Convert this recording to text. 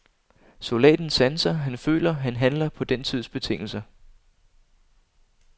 Soldaten sanser, han føler, han handler, på den tids betingelser.